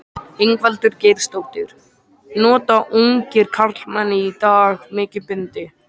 Ingveldur Geirsdóttir: Nota ungir karlmenn í dag mikið bindi?